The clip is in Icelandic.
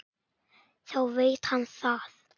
Þá veit hann það!